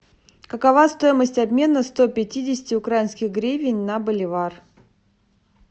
какова стоимость обмена сто пятидесяти украинских гривен на боливар